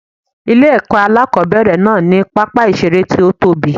Ilé èkó alákòóbèrè náà ní pápá ìseré tí ó tóbi